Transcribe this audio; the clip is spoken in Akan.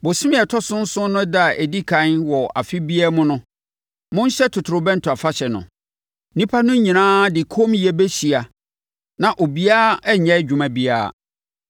“ ‘Bosome a ɛtɔ so nson no ɛda a ɛdi ɛkan wɔ afe biara mu no, monhyɛ totorobɛnto afahyɛ no. Nnipa no nyinaa de kommyɛ bɛhyia na obiara renyɛ adwuma biara.